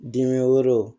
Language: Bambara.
Dimi wɛrɛw